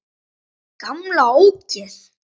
Gamla ógeð!